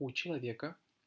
у человека